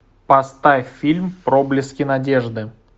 поставь фильм проблески надежды